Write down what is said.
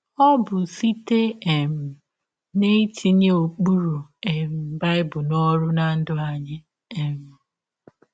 Ọ bụ site um n’itinye ụkpụrụ um Bible n’ọrụ ná ndụ anyị. um